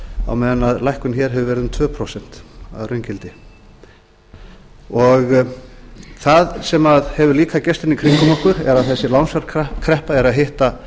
á meðan lækkun hér hefur verið í kringum tvö prósent að raungildi það sem hefur líka gerst í kringum okkur eða þessi lánsfjárkreppa er að hitta